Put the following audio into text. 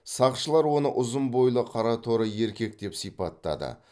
сақшылар оны ұзын бойлы қараторы еркек деп сипаттады